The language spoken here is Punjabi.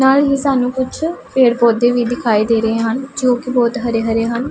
ਨਾਲ ਹੀ ਸਾਹਨੂੰ ਕੁਛ ਪੇੜ ਪੌਦੇ ਵੀ ਦਿਖਾਈ ਦੇ ਰਹੇ ਹਨ ਜੋ ਕੀ ਬੋਹਤ ਹਰੇ ਹਰੇ ਹਨ।